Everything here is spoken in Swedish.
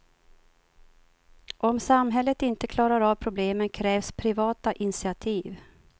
Om samhället inte klarar av problemen krävs privata initiativ.